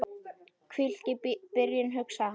Hvílík byrjun, hugsaði hann.